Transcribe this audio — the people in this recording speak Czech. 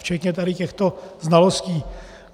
Včetně tady těchto znalostí.